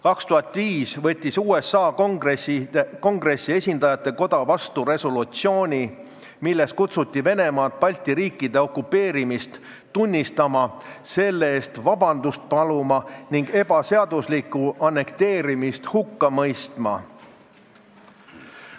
2005. aastal võttis USA Kongressi esindajatekoda vastu resolutsiooni, milles kutsuti Venemaad Balti riikide okupeerimist tunnistama, selle eest vabandust paluma ning ebaseaduslikku annekteerimist hukka mõistma.